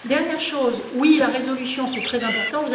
Dernier point oui, la résolution, c'est très important.